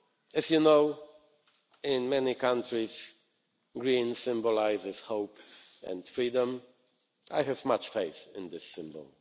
As you know, in many countries green symbolises hope and freedom. I have much faith in this symbol.